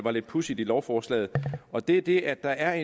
er lidt pudsigt i lovforslaget og det er det at der er